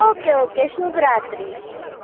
Ok ok શુભ રાત્રી